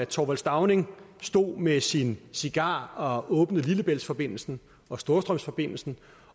thorvald stauning stod med sin cigar og åbnede lillebæltsforbindelsen og storstrømsforbindelsen